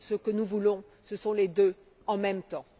Ce que nous voulons, ce sont les deux en même temps.